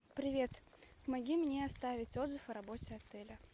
привет помоги мне оставить отзыв о работе отеля